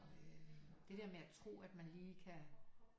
Det der med at tro at man lige kan